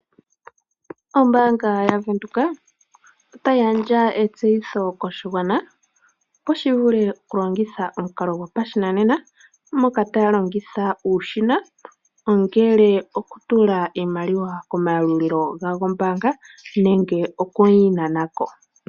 Ombaanga yaVenduka ota yigandja etseyitho koshigwana opo shivule okulongitha omukalo gwopashinane, moka taya longitha uushina, ongele okutulako iimaliwa komayalulilo gombaanga, nenge oku yi nananko.